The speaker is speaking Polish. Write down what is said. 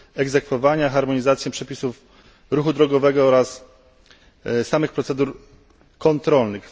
egzekwowania, harmonizację przepisów ruchu drogowego oraz samych procedur kontrolnych.